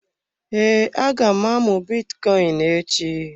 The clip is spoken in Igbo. Ee, aga m amụ bitcoin echi.